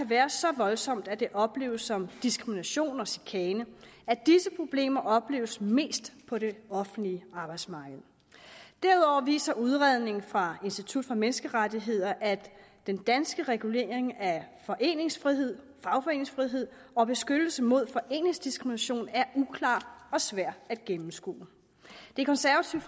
være så voldsomt at det opleves som diskrimination og chikane og at disse problemer opleves mest på det offentlige arbejdsmarked derudover viser udredningen fra institut for menneskerettigheder at den danske regulering af foreningsfrihed fagforeningsfrihed og beskyttelse mod foreningsdiskrimination er uklar og svær at gennemskue det konservative